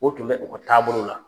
O tun bɛ u ka taabolo la.